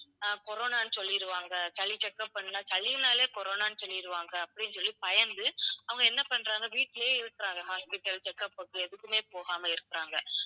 அஹ் கொரோனான்னு சொல்லிடுவாங்க சளி checkup பண்ணுன்னா. சளின்னாலே கொரோனான்னு சொல்லிடுவாங்க அப்படின்னு சொல்லிப் பயந்து அவங்க என்ன பண்றாங்க வீட்டிலேயே இருக்குறாங்க hospital checkup உக்கு எதுக்குமே போகாம இருக்குறாங்க.